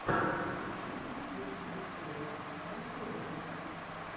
включи последнюю серию радиолюбителя